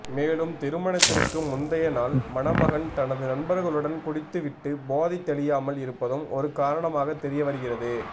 மேலும் திருமணத்திற்கு முந்தைய நாள் மணமகன் தனது நண்பர்களுடன் குடித்துவிட்டு போதை தெளியாமல் இருப்பதும் ஒரு காரணமாக தெரியவருகிறது